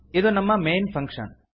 ಇದು ನಮ್ಮ main function